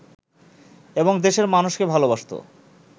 এবং দেশের মানুষকে ভালবাসত